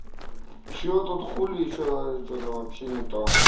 что тут хули ещё что-то вообще не то